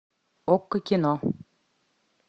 окко кино